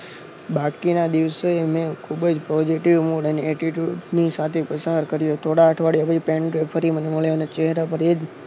બાકીના દિવસે મેં ખુબ જ positive mood અને attitude ની સાથે પ્રસાર કર્યું થોડા અઠવાડિયા પછી પેટ્રો ફરી મને મળ્યા અને ચેહરા પર એ જ